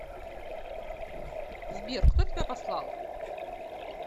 сбер кто тебя послал